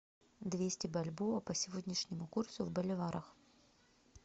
двести бальбоа по сегодняшнему курсу в боливарах